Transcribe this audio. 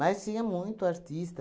tinha muito artista.